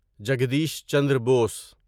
Jagdish Chandra Bose